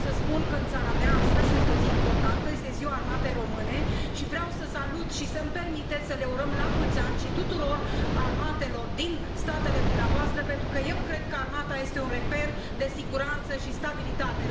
Vreau să spun că în țara mea astăzi este o zi importantă, este Ziua Armatei Române și vreau să salut și să îmi permiteți să le urăm la mulți ani și tuturor armatelor din statele dumneavoastră, pentru că eu cred că armata este un reper de siguranță și stabilitate.